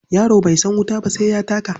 Yaro bai san wuta ba sai ya taka.